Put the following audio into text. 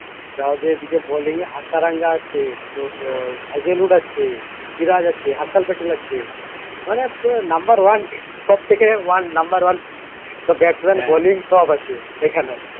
তাও এদিকে bolling এ হাসারাঙ্গা আছে তোর আহ হেজেলউড আছে সিরাজ আছে হাসাল প্যাটেল আছে মানে পুরো number one সব তেকে one number one তোর batsman bolling সব আছে এখানে